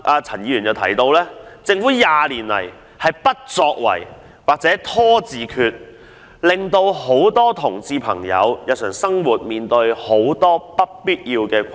陳議員提到，政府過去20年來的不作為或"拖字訣"，導致眾多同志朋友在日常生活上面對諸多不必要的困難。